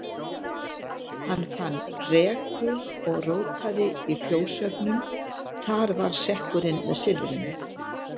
Hann fann reku og rótaði í fjóshaugnum, þar var sekkurinn með silfrinu.